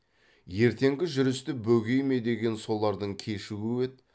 ертеңгі жүрісті бөгей ме деген солардың кешігуі еді